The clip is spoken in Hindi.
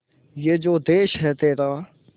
ये जो देस है तेरा